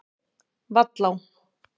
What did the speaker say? Vallá